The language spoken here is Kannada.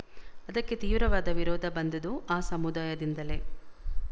ಅದಕ್ಕೆ ತೀವ್ರವಾದ ವಿರೋಧ ಬಂದುದು ಆ ಸಮುದಾಯದಿಂದಲೇ